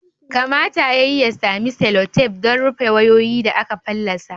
Kamata ya yi ya sami selotef don rufe wayoyi da aka fallasa